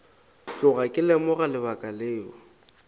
tloga ke lemoga lebaka leo